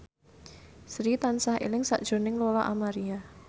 Sri tansah eling sakjroning Lola Amaria